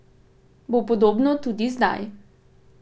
Bo podobno tudi zdaj?